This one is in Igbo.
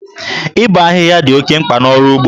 Ịbọ ahịhịa dị oke mkpa n'ọrụ ugbo.